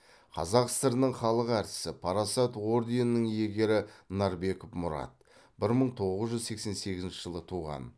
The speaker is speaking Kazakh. қазақ сср інің халық әртісі парасат орденінің иегері нарбеков мұрат бір мың тоғыз жүз сексен сегізінші жылы туған